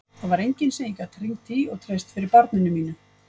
Það var enginn sem ég gat hringt í og treyst fyrir barninu mínu.